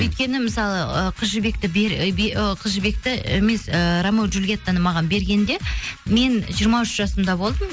өйткені мысалы ы қыз жібекті ы қыз жібекті емес ыыы рамео джулиеттаны маған бергенде мен жиырма үш жасымда болдым